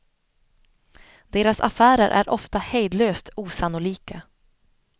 Deras affärer är ofta hejdlöst osannolika.